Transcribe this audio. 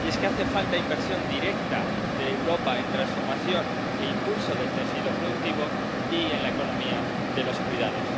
Y es que hace falta inversión directa de Europa en transformación e impulso del tejido productivo y en la economía de los cuidados.